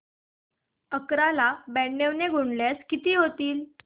अकरा ला ब्याण्णव ने गुणल्यास किती होतील